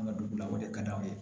An ka dugu la o de ka d'aw ye